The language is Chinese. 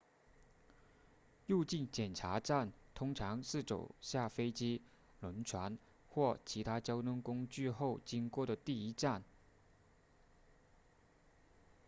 入境检查站通常是走下飞机轮船或其他交通工具后经过的第一站